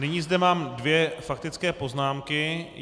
Nyní zde mám dvě faktické poznámky.